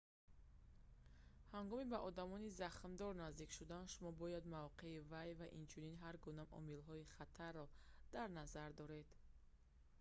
ҳангоми ба одами захмдор наздик шудан шумо бояд мавқеи вай ва инчунин ҳар гуна омилҳои хатарро дар назар доред